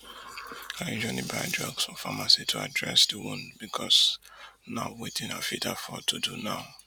i usually buy drugs for pharmacy to address di wound becos na wetin i fit afford to do now